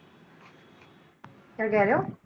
ਕਿਆ ਕਿਹਾ ਰਹੋ ਹੋ?